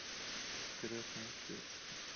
крестный отец